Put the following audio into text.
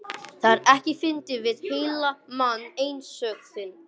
Það er ekkert fyndið við heillandi mann einsog þig.